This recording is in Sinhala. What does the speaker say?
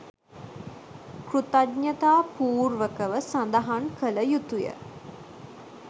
කෘතඥතා පූර්වකව සඳහන් කළ යුතුය.